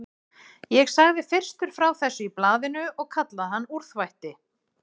Ég sagði fyrstur frá þessu í blaðinu og kallaði hann úrþvætti.